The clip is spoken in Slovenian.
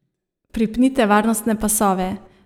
Pripnite varnostne pasove.